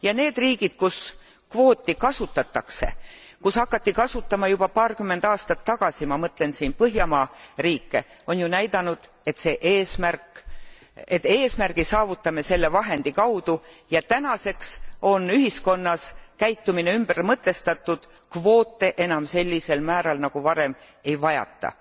Ja need riigid, kus kvooti kasutatakse, kus hakati seda kasutama juba paarkümmend aastat tagasi, ma mõtlen siin põhjamaa riike, on ju näidanud, et eesmärgi saavutame selle vahendi kaudu ja tänaseks on ühiskonnas käitumine ümber mõtestatud kvoote enam sellisel määral nagu varem ei vajata.